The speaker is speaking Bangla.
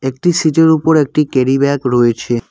একটি সিটের ওপর একটি ক্যারিব্যাগ রয়েছে।